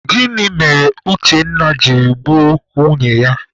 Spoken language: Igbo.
Gịnị mere Uchenna jiri gbuo nwunye ya?